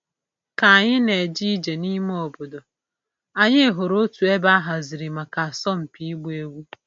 Ka anyị na-eje ije n'ime obodo, anyị hụrụ otu ebe a haziri maka asọmpi ịgba egwu.